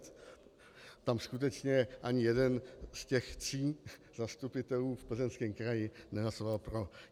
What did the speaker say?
Tam skutečně ani jeden z těch tří zastupitelů v Plzeňském kraji nehlasoval pro.